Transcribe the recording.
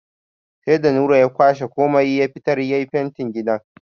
Sai da Nura ya kwashe komai ya fitar ya yi fentin gidan.